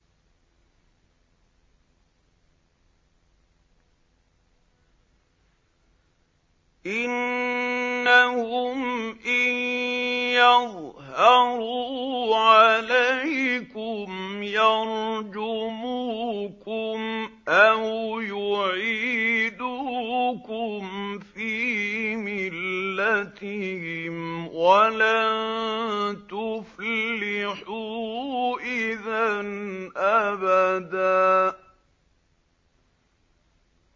إِنَّهُمْ إِن يَظْهَرُوا عَلَيْكُمْ يَرْجُمُوكُمْ أَوْ يُعِيدُوكُمْ فِي مِلَّتِهِمْ وَلَن تُفْلِحُوا إِذًا أَبَدًا